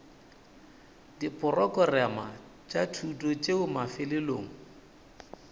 diporokerama tša thuto tšeo mafelelong